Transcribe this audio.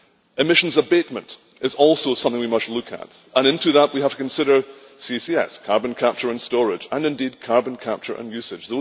Emissions abatement is also something we must look at, and into that we have to consider CCS carbon capture and storage and, indeed, carbon capture and usage.